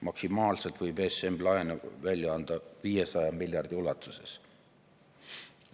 Maksimaalselt võib ESM laene välja anda 500 miljardi ulatuses.